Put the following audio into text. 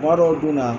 Kuma dɔw dun na